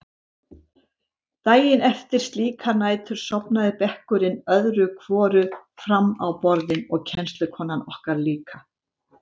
Daginn eftir slíkar nætur sofnaði bekkurinn öðru hvoru fram á borðin og kennslukonan okkar líka.